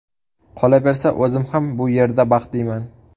Qolaversa, o‘zim ham bu yerda baxtliman.